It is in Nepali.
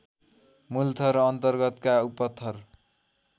मूलथर अन्तर्गतका उपथर